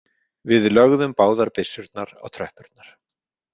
Við lögðum báðar byssurnar á tröppurnar.